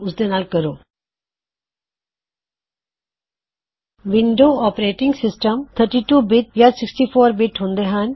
ਜਿਆਦਾਤਰ window operating system 32 ਓਰ 64 bit ਹੁੰਦੇ ਹਨ